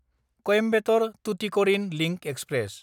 Coimbatore-Tuticorin link express